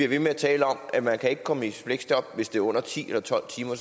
ved med at tale om at man ikke kan komme i fleksjob hvis det er under ti eller tolv timer